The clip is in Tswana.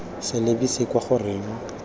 sa lebise kwa go reng